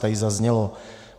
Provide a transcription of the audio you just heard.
Tady zaznělo: